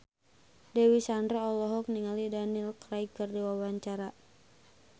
Dewi Sandra olohok ningali Daniel Craig keur diwawancara